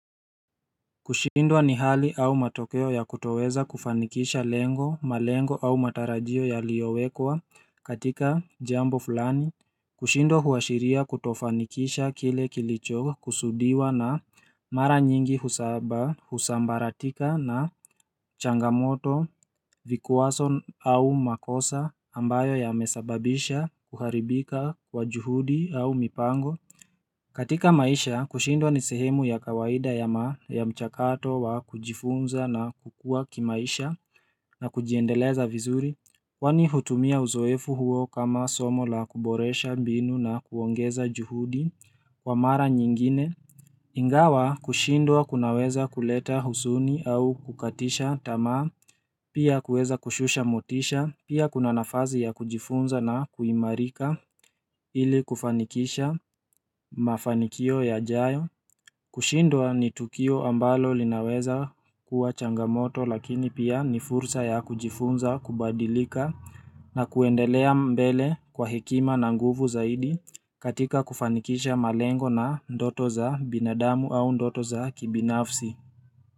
Kushindwa ni hali au matokeo ya kutoweza kufanikisha lengo malengo au matarajio yaliowekwa katika jambo fulani kushindwa huashiria kutofanikisha kile kilicho kusudiwa na mara nyingi husaba husambaratika na changamoto vikwazo au makosa ambayo yamesababisha kuharibika wa juhudi au mipango katika maisha kushindwa ni sehemu ya kawaida ya mchakato wa kujifunza na kukua kimaisha na kujiendeleza vizuri kwani hutumia uzoefu huo kama somo la kuboresha binu na kuongeza juhudi kwa mara nyingine Ingawa kushindwa kunaweza kuleta huzuni au kukatisha tamaa, pia kueza kushusha motisha. Pia kuna nafasi ya kujifunza na kuimarika ili kufanikisha mafanikio yajayo. Kushindwa ni tukio ambalo linaweza kuwa changamoto lakini pia ni fursa ya kujifunza kubadilika na kuendelea mbele kwa hekima na nguvu zaidi katika kufanikisha malengo na ndoto za binadamu au ndoto za kibinafsi.